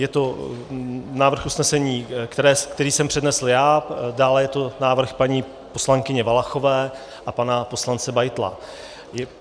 Je to návrh usnesení, který jsem přednesl já, dále je to návrh paní poslankyně Valachové a pana poslance Beitla.